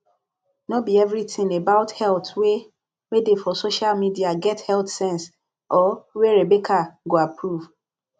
no be everything about health wey wey dey for social media get health sense or wey rebecca go approve